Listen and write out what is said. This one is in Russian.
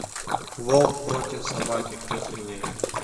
волк против собаки кто сильнее